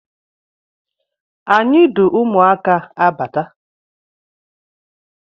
Anyi du ụmụaka abata